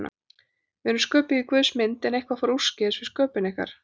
Við erum sköpuð í Guðs mynd, en eitthvað fór úrskeiðis við sköpun ykkar.